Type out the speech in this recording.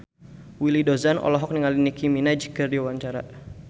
Willy Dozan olohok ningali Nicky Minaj keur diwawancara